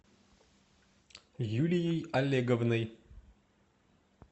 юлией олеговной